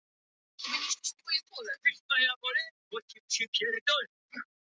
Siglaugur, hvernig er veðurspáin?